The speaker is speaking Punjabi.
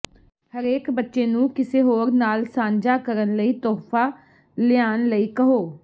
ਹਰੇਕ ਬੱਚੇ ਨੂੰ ਕਿਸੇ ਹੋਰ ਨਾਲ ਸਾਂਝਾ ਕਰਨ ਲਈ ਤੋਹਫ਼ਾ ਲਿਆਉਣ ਲਈ ਕਹੋ